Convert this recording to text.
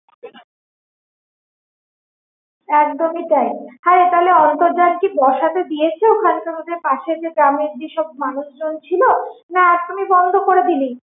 একদমই তাই হ্যাঁ রে তাহলে কি অন্তর্জাল বসাতে দিয়েছে ওখানকার যেসব পাশের গ্রামেরযেসব মানুষ জন ছিল না কি একদমি বন্ধ করে দিলি?